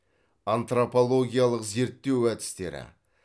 антропологиялық зерттеу әдістері